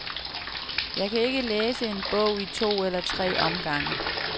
Jeg kan ikke læse en bog i to eller tre omgange.